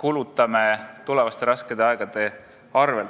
kulutame tulevaste raskete aegade arvel.